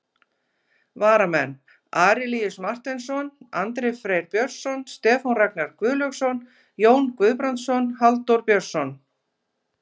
Varamenn: Arilíus Marteinsson, Andri Freyr Björnsson, Stefán Ragnar Guðlaugsson, Jón Guðbrandsson, Halldór Björnsson.